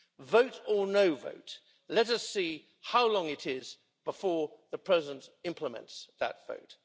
Vote or no vote, let us see how long it is before the president implements that vote.